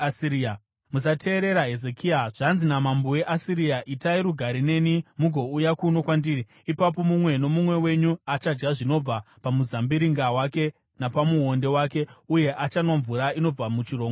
“Musateerera Hezekia. Zvanzi namambo weAsiria: Itai rugare neni mugouya kuno kwandiri. Ipapo mumwe nomumwe wenyu achadya zvinobva pamuzambiringa wake napamuonde wake, uye achanwa mvura inobva muchirongo chake,